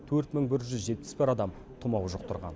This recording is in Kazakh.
төрт мың бір жүз жетпіс бір адам тұмау жұқтырған